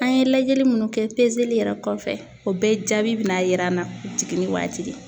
An ye lajɛli munnu kɛ yɛrɛ kɔfɛ ,o bɛɛ jaabi be na yira an na jiginni waati de.